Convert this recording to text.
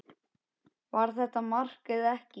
Var þetta mark eða ekki?